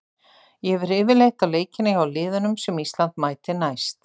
Ég fer yfirleitt á leikina hjá liðunum sem Ísland mætir næst.